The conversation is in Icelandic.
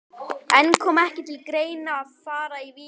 En kom ekki til greina að fara í Víking?